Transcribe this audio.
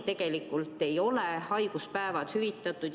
Tegelikult tänaseni ei ole haiguspäevad hüvitatud.